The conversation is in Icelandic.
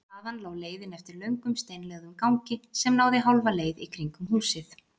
Þaðan lá leiðin eftir löngum steinlögðum gangi sem náði hálfa leið í kringum húsið.